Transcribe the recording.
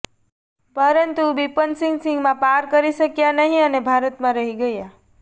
પરંતુ બિપંતસિંગ સીમા પાર કરી શક્યા નહીં અને ભારતમાં રહી ગયા